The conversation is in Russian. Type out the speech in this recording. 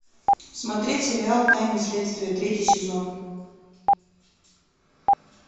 смотреть сериал тайны следствия третий сезон